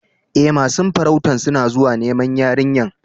E, masun farautan suna zuwa niman yarinyan.